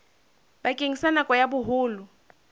bakeng sa nako ya boholo